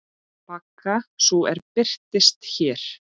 Baga sú er birtist hér.